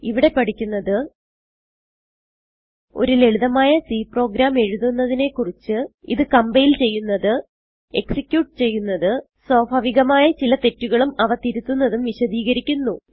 ഇവിടെ പഠിക്കുന്നത് ഒരു ലളിതമായ C പ്രോഗ്രാം എഴുതുന്നതിനെ കുറിച്ച് ഇത് കംപൈൽ ചെയ്യുന്നത് എക്സിക്യൂട്ട് ചെയ്യുന്നത് സ്വാഭാവികമായ ചില തെറ്റുകളും അവ തിരുത്തുന്നതും വിശദീകരിക്കുന്നു